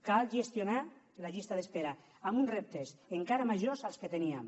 cal gestionar la llista d’espera amb uns reptes encara majors dels que teníem